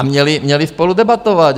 A měli spolu debatovat.